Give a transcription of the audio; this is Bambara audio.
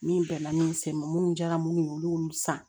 Min bɛnna min sen ma minnu diyara minnu ye olu y'olu san